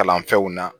Kalan fɛnw na